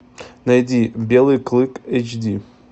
найди белый клык эйч ди